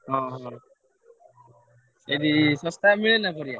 ଓହୋ! ସେଇଠି ଶସ୍ତା ମିଳେ ନାଁ ପରିବା?